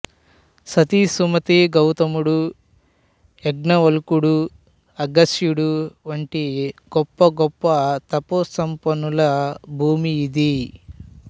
సతీ సుమతిగౌతముడు యగ్నవల్కుడు అగస్త్యుడు వంటి గొప్ప గొప్ప తపో సంపన్నుల భూమి ఇది